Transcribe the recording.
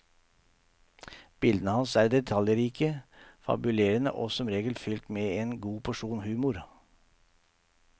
Bildene hans er detaljrike, fabulerende og som regel fylt med en god porsjon humor.